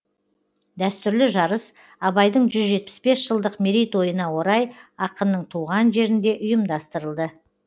дәстүрлі жарыс абайдың жүз жетпіс бес жылдық мерейтойына орай ақынның туған жерінде ұйымдастырылды